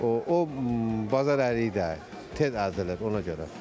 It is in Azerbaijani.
O, o bazar əriyidir də, tez əzilir ona görə.